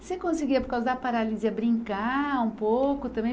Você conseguia, por causa da paralisia, brincar um pouco também?